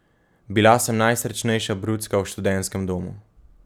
Bila sem najsrečnejša brucka v študentskem domu.